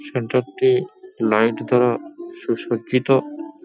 Centre টি light দ্বারা সুসজ্জিত।